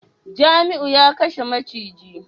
Jamiu ya kashe maciji